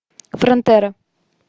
фронтера